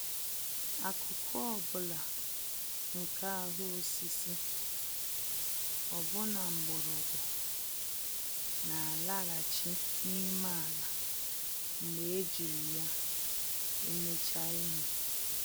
Akụkụ ọ bụla nke ahụ osisi, ọbụna mgbọrọgwụ, n'alaghachi n'ime ala mgbe ejiri ya emechaa ihe.